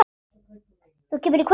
Þú kemur í kvöld!